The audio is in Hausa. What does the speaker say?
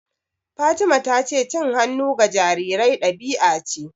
Fatima ta ce cin hannu ga jarirai ɗabi'a ce.